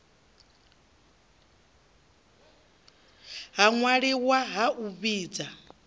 ha ṅwaliwa ha u vhidza